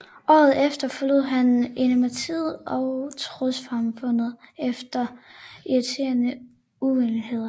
Året efter forlod han imidlertid trossamfundet efter interne uenigheder